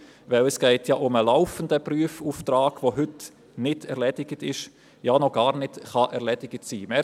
Denn es geht ja um einen laufenden Prüfauftrag, der heute nicht erledigt ist – ja, noch gar nicht erledigt sein kann.